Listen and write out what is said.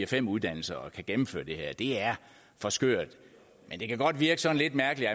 fem uddannelser at gennemføre det her det er for skørt men det kan godt virke sådan lidt mærkeligt